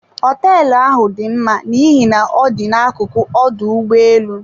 Hoteelu ahụ dị mma n'ihi na ọ dị na akuku ọdụ ụgbọ elu.